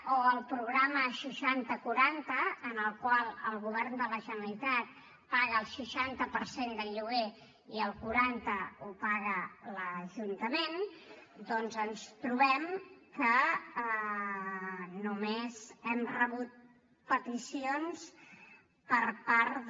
o en el programa seixanta quaranta en el qual en govern de la generalitat de la generalitat paga el seixanta per cent del lloguer i el quaranta el paga l’ajuntament doncs ens trobem que només hem rebut peticions per part de